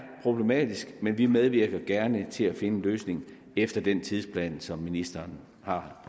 problematisk men vi medvirker gerne til at finde en løsning efter den tidsplan som ministeren har